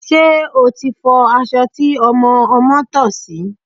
Ṣé o ti fọ aṣọ tí ọmọ ọmọ́ tọ̀ sí?